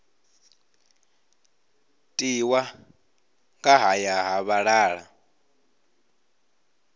tiwa nga haya ha vhalala